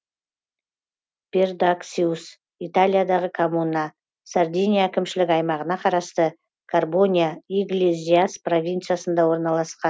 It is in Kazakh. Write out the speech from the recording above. пердаксиус италиядағы коммуна сардиния әкімшілік аймағына қарасты карбония иглезиас провинциясында орналасқан